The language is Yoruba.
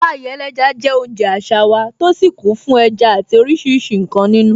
Pie ẹlẹ́ja je oúnjẹ àṣà wa, tó sì kún fún ẹja àti oríṣiríṣi nkan nínú.